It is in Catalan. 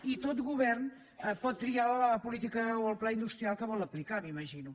i tot govern pot triar la política o el pla industrial que vol aplicar m’imagino